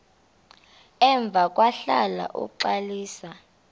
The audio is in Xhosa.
emva kwahlala uxalisa